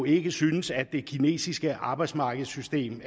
ikke synes at det kinesiske arbejdsmarkedssystem